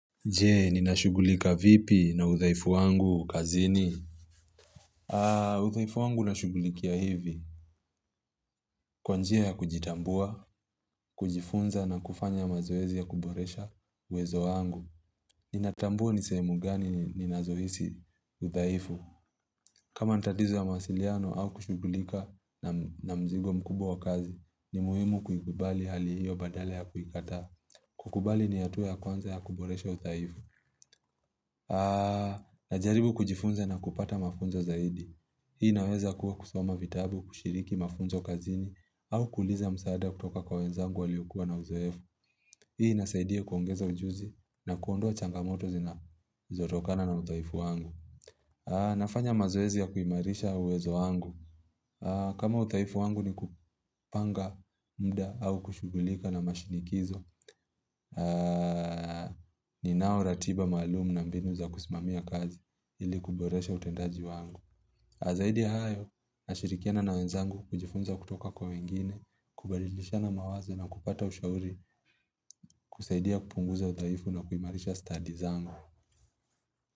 Jee, ninashughulika vipi na udhaifu wangu, kazini? Udhaifu wangu nashughulikia hivi. Kwa njia ya kujitambua, kujifunza na kufanya mazoezi ya kuboresha uwezo wangu. Ninatambua ni sehemu gani ninazohisi udhaifu. Kama ni tatizo ya mawasiliano au kushugulika na mzigo mkubwa wa kazi, ni muhimu kuikubali hali hiyo badala ya kuikataa. Kukubali ni hatua ya kwanza ya kuboresha udhaifu. Najaribu kujifunza na kupata mafunzo zaidi Hii inaweza kuwa kusoma vitabu, kushiriki mafunzo kazini au kuuliza msaada kutoka kwa wenzangu waliokuwa na uzoefu Hii inasaidia kuongeza ujuzi na kuondoa changamoto zinazotokana na udhaifu wangu kukubali ni hatua ya kwanza ya kuboresha udhaifu. Udhaifu wangu ni kupanga muda au kushughulika na mashinikizo ninao ratiba maalum na mbinu za kusimamia kazi ili kuboresha utendaji wangu zaidi ya hayo nashirikiana na wenzangu kujifunza kutoka kwa wengine, kubalishana mawazo na kupata ushauri hunisaidia kupunguza udhaifu na kuimarisha stadi zangu.